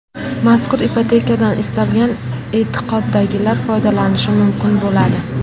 Mazkur ipotekadan istalgan e’tiqoddagilar foydalanishi mumkin bo‘ladi.